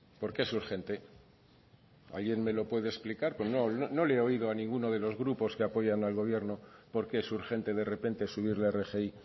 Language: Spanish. por qué es urgente alguien me lo puede explicar pues no no le he oído a ninguno de los grupos que apoyan al gobierno por qué es urgente de repente subir la rgi